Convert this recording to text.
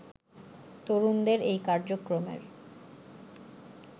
তরুণদের এই কার্যক্রমের